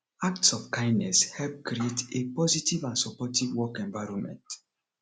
acts of kindness help create a positive and supportive work environment